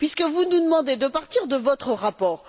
Vous nous demandez de partir de votre rapport.